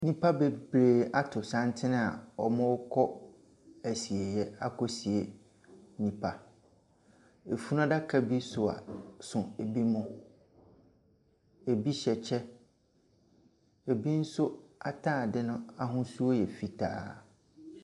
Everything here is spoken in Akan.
Nipa bebree ato santen a wɔɔkɔ asieyɛ akɔsie nnipa. Efunuadaka bi sua so ebi mo. Ebi hyɛ kyɛ. Ebi nso ataade no ahosuo yɛ fitaa.